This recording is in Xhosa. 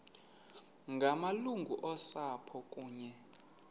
ngamalungu osapho kunye